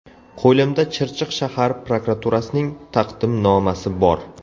Qo‘limda Chirchiq shahar prokuraturasining taqdimnomasi bor.